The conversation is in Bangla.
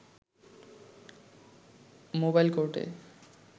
মোবাইল কোর্টে